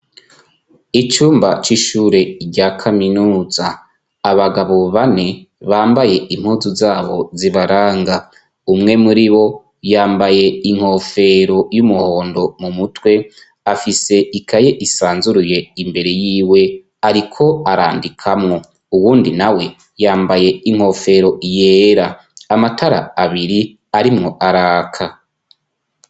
Icumba c'ishure rya kaminuza, abagabo bane bambaye impuzu zabo zibaranga; umwe muribo yambaye inkofero y'umuhondo m'umutwe afise ikaye isanzuruye imbere yiwe ariko arandikamwo, uwundi nawe yambaye inkofero yera. Amatara abiri arimwo araka.